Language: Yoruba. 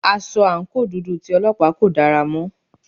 Aṣọ àǹkóò dúdú tí Ọlọ́pàá kò dára mọ́.